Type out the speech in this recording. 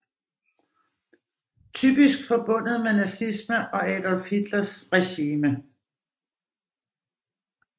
Typisk forbundet med nazisme og Adolf Hitlers regime